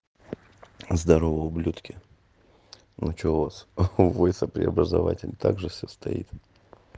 здорова ублюдки ну что у вас вводится преобразователь также всё стоит